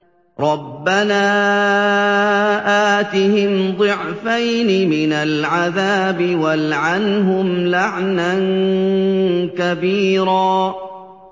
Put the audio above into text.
رَبَّنَا آتِهِمْ ضِعْفَيْنِ مِنَ الْعَذَابِ وَالْعَنْهُمْ لَعْنًا كَبِيرًا